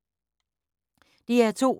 DR2